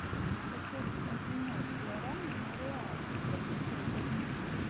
хочу обменять гуарани на реалы сколько стоит обмен